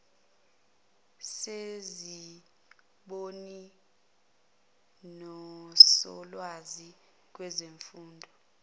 bezimboni nosolwazi kwezemfundo